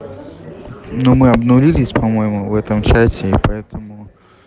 но мы обнулились по-моему в этом чате и поэтому